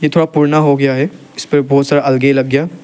ये थोड़ा पुराना हो गया है इस पर बहोत सारा अल्गे लग गया--